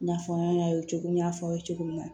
I n'a fɔ an y'a ye cogo min n y'a fɔ aw ye cogo min na